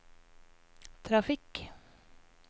trafikk